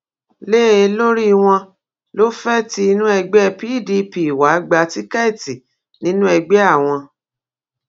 lé e lórí wọn lọ fee tí inú ẹgbẹ pdp wàá gba tíkẹẹtì nínú ẹgbẹ àwọn